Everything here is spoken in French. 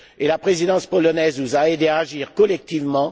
Et la Présidence polonaise nous a aidés à agir collectivement.